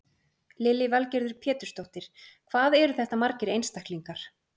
Lillý Valgerður Pétursdóttir: Hvað eru þetta margir einstaklingar?